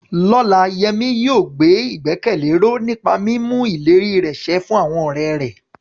Lọ́la, Yemi yóò gbé ìgbẹ́kẹ̀lé ró nípa mímú ìlérí rẹ̀ ṣẹ fún àwọn ọ̀rẹ́ rẹ̀.